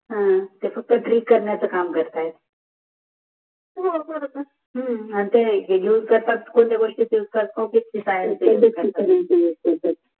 ते फक्त ग्रेगोस्कतीच्जा करण्याचा काम करतात हो करत असतील आणि ते कोणत्या गोष्टीचा